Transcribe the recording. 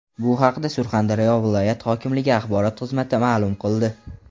Bu haqda Surxondaryo viloyat hokimligi axborot xizmati ma’lum qildi .